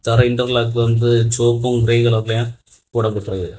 தரெ interlock வந்துட்டு செவப்பு grey கலர்லயு போடபட்டிற்கு.